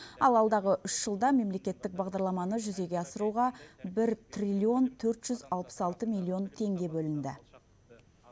ал алдағы үш жылда мемлекеттік бағдарламаны жүзеге асыруға бір триллион төрт жүз алпыс алты миллион теңге бөлінді